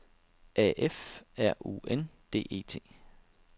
A F R U N D E T